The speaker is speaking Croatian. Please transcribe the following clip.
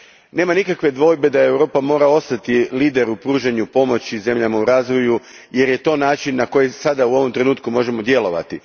Nema nikakve dvojbe da Europa mora ostati lider u pružanju pomoći zemljama u razvoju jer je to način na koji sada, u ovom trenutku, možemo djelovati.